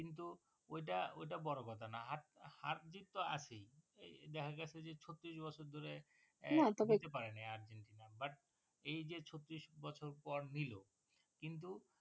কিন্তু ওইটা ওইটা বড়ো কথা নয় হার জিৎ তো আছেই এই জায়গাটা যে ছত্রিশ বছর ধরে নিতে পারে নি আর্জেন্টিনা but এই যে ছত্রিশ বছর পর নিলো কিন্তু